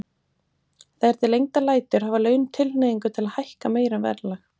Þegar til lengdar lætur hafa laun tilhneigingu til að hækka meira en verðlag.